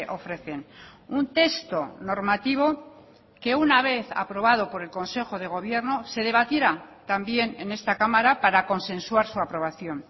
ofrecen un texto normativo que una vez aprobado por el consejo de gobierno se debatiera también en esta cámara para consensuar su aprobación